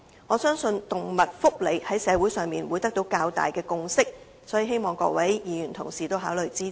我相信動物福利在社會上會得到較大的共識，所以希望各位議員考慮支持。